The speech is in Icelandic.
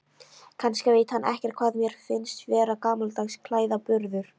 Kannski veit hann ekkert hvað mér finnst vera gamaldags klæðaburður.